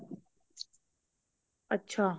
ਅੱਛਾ